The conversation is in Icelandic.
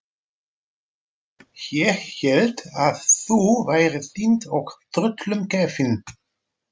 Ég hélt að þú værir týnd og tröllum gefin.